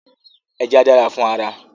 Ẹja dára fún ara